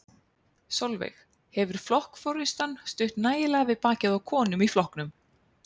Sólveig: Hefur flokksforystan stutt nægilega við bakið á konum í flokknum?